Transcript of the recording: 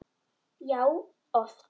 Já, oft.